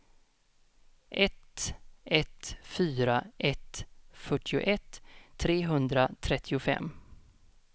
ett ett fyra ett fyrtioett trehundratrettiofem